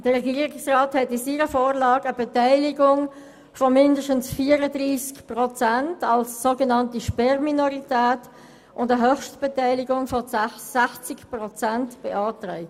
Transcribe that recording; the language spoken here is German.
: Der Regierungsrat hat in seiner Vorlage eine Beteiligung von 34 Prozent als sogenannte Sperrminorität und eine Höchstbeteiligung von 60 Prozent beantragt.